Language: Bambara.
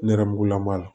Nɛrɛmugulama